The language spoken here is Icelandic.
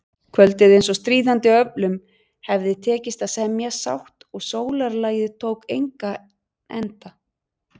Kvöldið eins og stríðandi öflum hefði tekist að semja sátt og sólarlagið tók engan enda.